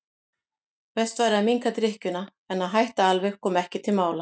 Best væri að minnka drykkjuna en að hætta alveg kom ekki til mála.